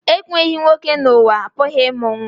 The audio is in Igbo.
Enweghị nwoke n'ụwa, a pụghị ịmụ nwa